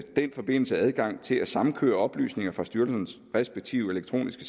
i den forbindelse adgang til at samkøre oplysninger fra styrelsernes respektive elektroniske